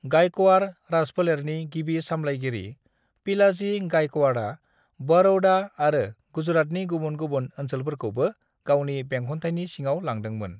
गायक'वाड़ राजफोलेरनि गिबि सामलायगिरि पिलाजी गायक'वाड़आ बड़ौदा आरो गुजरातनि गुबुन गुबुन ओनसलोफोरखौबो गावनि बेंखनथायनि सिङाव लांदोंमोन।